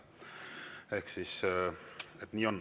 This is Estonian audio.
Ehk siis nii on.